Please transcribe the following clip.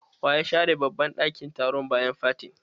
Wa ya share. babban ɗakin taron bayan fatin?